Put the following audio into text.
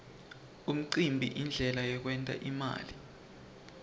umcimbi yindlela yekwent imali